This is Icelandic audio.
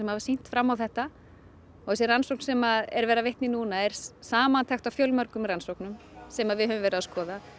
hafa sýnt fram á þetta og þessi rannsókn sem er verið að vitna í núna er samantekt af fjölmörgum rannsóknum sem við höfum verið að skoða